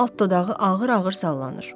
Alt dodağı ağır-ağır sallanır.